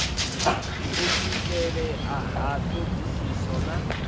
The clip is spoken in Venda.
u swikelea ha thodisiso na